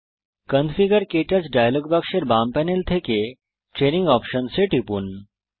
configure ক্টাচ dialog বাক্সের বাম প্যানেল থেকে ট্রেইনিং অপশনস এ টিপুন